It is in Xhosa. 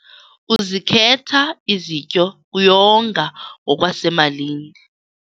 Uzikhetha izityo kuyonga ngokwasemalini.